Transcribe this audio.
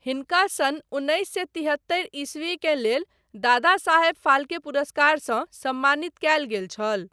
हिनका सन उन्नैस सए तिहत्तरि ईस्वी के लेल दादा साहब फाल्के पुरस्कारसँ सम्मानित कयल गेल छल।